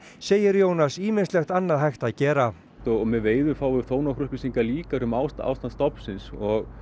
segir Jónas ýmislegt annað hægt að gera og með veiðum fáum við þó nokkrar upplýsingar líka um ástand stofnsins og